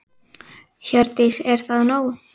Hjördís: Er það nóg?